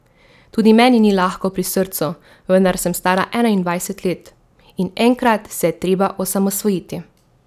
Tudi meni ni lahko pri srcu, vendar sem stara enaindvajset let, in enkrat se je treba osamosvojiti.